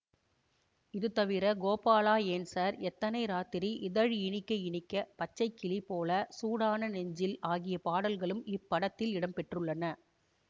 இது தவிர கோபாலா ஏன் சார் எத்தனை ராத்திரி இதழ் இனிக்க இனிக்க பச்சை கிளி போல சூடான நெஞ்சில் ஆகிய பாடல்களும் இப்படத்தில் இடம்பெற்றுள்ளன